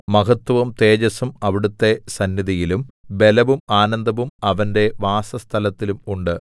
മഹത്വവും തേജസ്സും അവിടുത്തെ സന്നിധിയിലും ബലവും ആനന്ദവും അവന്റെ വാസസ്ഥലത്തിലും ഉണ്ട്